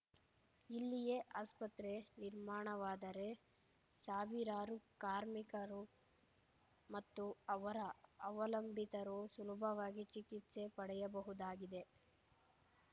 ಇಲ್ಲಿಯೇ ಆಸ್ಪತ್ರೆ ನಿರ್ಮಾಣವಾದರೆ ಸಾವಿರಾರು ಕಾರ್ಮಿಕರು ಮತ್ತು ಅವರ ಅವಲಂಬಿತರು ಸುಲಭವಾಗಿ ಚಿಕಿತ್ಸೆ ಪಡೆಯಬಹುದಾಗಿದೆ